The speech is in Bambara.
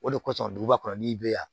O de kosɔn duguba kɔnɔ n'i bɛ yan